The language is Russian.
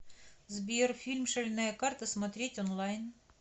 сбер фильм шальная карта смотреть онлайн